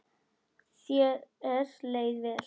Þér leið vel.